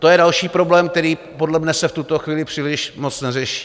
To je další problém, který podle mne se v tuto chvíli příliš moc neřeší.